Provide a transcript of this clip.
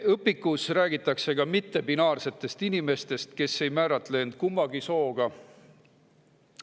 Õpikus räägitakse ka mittebinaarsetest inimestest, kes ei määratle end kummagi soona.